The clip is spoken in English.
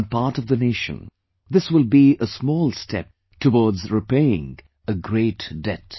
On part of the nation, this will be a small step towards repaying a great debt